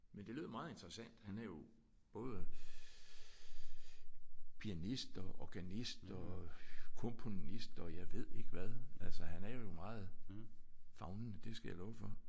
Men det lød meget interessant. Han er jo både pianist og organist og komponist og jeg ved ikke hvad. Altså han er jo meget favnende. Det skal jeg love for